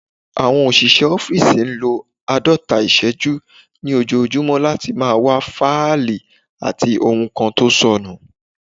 Àwọn òṣìṣẹ́ ọ́fìsì n lo àádọ́ta ìṣẹ́jú ní ojojúmọ́ láti máa wá fáìlì àbí ohun kan tó sọnù